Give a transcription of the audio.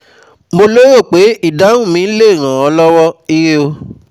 Mo lérò pé ìdáhùn mi lè ràn ọ́ lọ́wọ́, Ire o